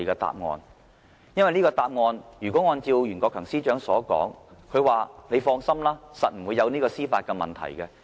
因為，如果這個答案，最終是像袁國強司長所說般，指我們可以放心，一定不會有司法的問題。